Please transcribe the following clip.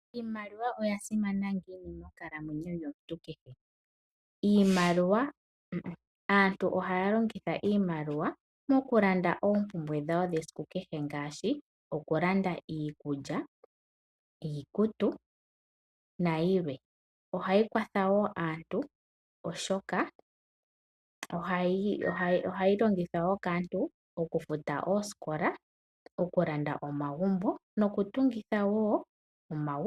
Iimaliwa oya simana ngiini monkalamwenyo yomuntu kehe? Aantu ohaya longitha iimaliwa mokulanda oompumbwe dhawo dhesiku kehe ngaashi okulanda iikulya, iikutu nayilwe. Ohayi kwatha wo aantu oshoka ohayi longithwa wo kaantu okufuta oosikola, okulanda omagumbo nokutungitha omagumbo.